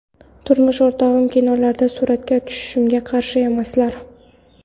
Turmush o‘rtog‘im kinolarda suratga tushishimga qarshi emaslar.